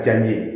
Diya n ye